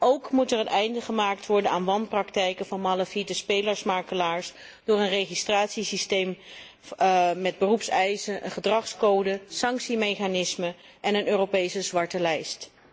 Ook moet er een einde gemaakt worden aan wanpraktijken van malafide spelermakelaars door een registratiesysteem met beroepseisen, een gedragscode, sanctiemechanismen en een Europese zwarte lijst.